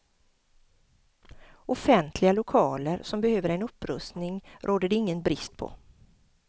Offentliga lokaler som behöver en upprustning råder det ingen brist på.